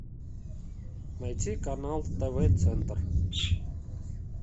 найти канал тв центр